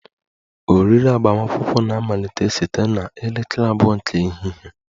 Oriri agbamakwụkwọ na-amalite site na elekere abụọ nke ehihie